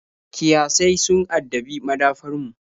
Kiyasai sun addabi madafar mu.